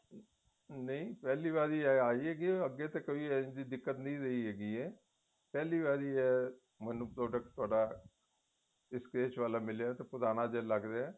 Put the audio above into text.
ਨਹੀਂ ਪਹਿਲੀ ਵਾਰ ਆਈ ਹੈਗੀ ਅੱਗੇ ਤੇ ਕੋਈ ਅਜਿਹੀ ਨਹੀਂ ਰਹੀ ਹੈਗੀ ਏ ਪਹਿਲੀ ਵਾਰੀ ਏ ਮੈਨੂੰ product ਤੁਹਾਡਾ dispatch ਵਾਲਾ ਮਿਲਿਆ ਤੇ ਪੁਰਾਣਾ ਜੇਹਾ ਲੱਗ ਰਿਹਾ